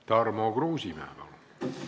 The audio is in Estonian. Tarmo Kruusimäe, palun!